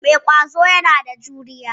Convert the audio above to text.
Mai ƙwazo yana da juriya.